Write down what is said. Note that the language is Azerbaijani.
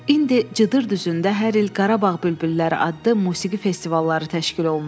İndi Cıdır düzündə hər il Qarabağ bülbülləri adlı musiqi festivalları təşkil olunur.